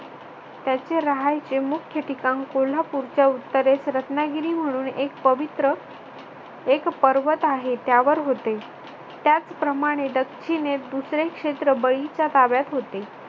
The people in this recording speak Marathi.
त्याच्या राहायचे मुख्य ठिकाण कोल्हापूरच्या उत्तरेस रत्नागिरी म्हणून एक पवित्र एक पर्वत आहे. त्यावर होते. त्याचप्रमाणे दक्षिणेस दुसरे शेत्र बळीच्या ताब्यात होते.